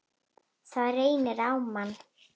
Það reynir á mann!